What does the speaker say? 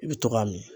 I bɛ to k'a min